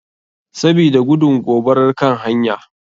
Sabida gudun gobarar kan hanya.